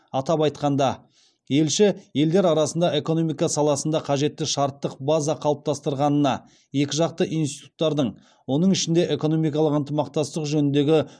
атап айтқанда елші елдер арасында экономика саласында қажетті шарттық база қалыптастырылғанына екіжақты институттардың оның ішінде экономикалық ынтымақтастық жөніндегі